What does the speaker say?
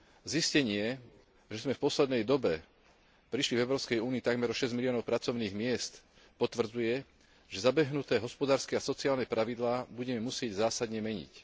Zistenie, že sme v poslednej dobe prišli v Európskej únii takmer o šesť miliónov pracovných miest potvrdzuje, že zabehnuté hospodárske a sociálne pravidlá budeme musieť zásadne meniť.